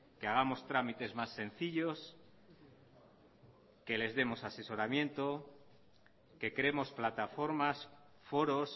que hagamos trámites más sencillos que les demos asesoramiento que creemos plataformas foros